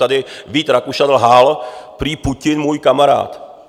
Tady Vít Rakušan lhal - prý Putin, můj kamarád.